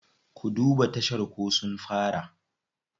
Ku duba tashar ko sun fara.